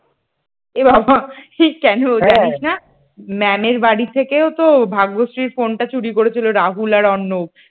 এ বাবা কেন জানিস না? ম্যামের বাড়ি থেকেও তো ভাগ্যশ্রীর ফোনটা চুরি করেছিল রাহুল আর অর্ণব।